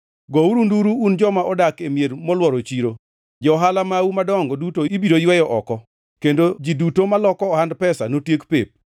Jehova Nyasaye wacho niya, “Chiengʼno, ywak noywagre koa e rangach miluongo ni Dhoranga Rech, nduru noa e bath dala koma nyien, kendo koko nogore matek koa e gode.